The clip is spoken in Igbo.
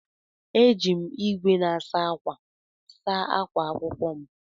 Éjị m ìgwè na-asa ákwà saa akwa akwụkwọ m.